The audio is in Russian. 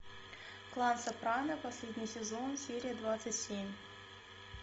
клан сопрано последний сезон серия двадцать семь